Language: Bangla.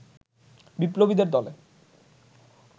বিপ্লবীদের দলে